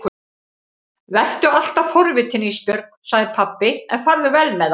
Vertu alltaf forvitin Ísbjörg, sagði pabbi, en farðu vel með það.